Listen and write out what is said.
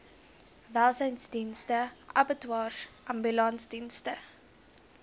welsynsdienste abattoirs ambulansdienste